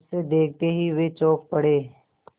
उसे देखते ही वे चौंक पड़े